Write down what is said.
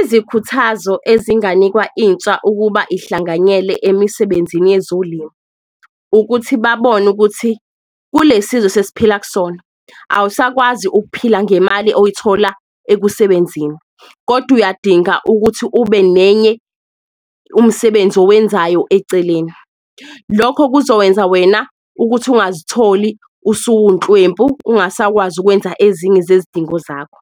Izikhuthazo ezinganikwa intsha ukuba ihlanganyele emisebenzini yezolimo ukuthi babone ukuthi kule sizwe esesiphila kusona, awusakwazi ukuphila ngemali oyithola ekusebenzini, kodwa uyadinga ukuthi ube nenye umsebenzi owenzayo eceleni. Lokho kuzokwenza wena ukuthi ungazitholi usuwunhlwempu ungasakwazi ukwenza ezinye zezidingo zakho,